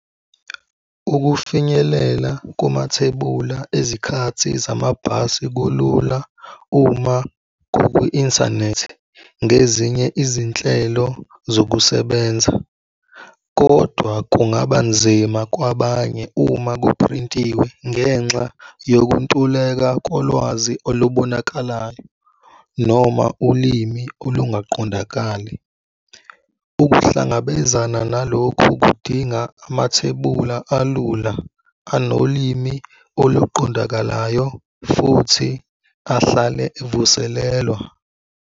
Ukufinyelela kumathebula ezikhathi zamabhasi kulula uma kukwi-inthanethi ngezinye izinhlelo zokusebenza, kodwa kungaba nzima kwabanye uma kuphrintiwe ngenxa yokuntuleka kolwazi olubonakalayo noma ulimi olungaqondakali. Ukuhlangabezana nalokhu kudinga amathebula alula, anolimi oluqondakalayo futhi ahlale evuselelwa.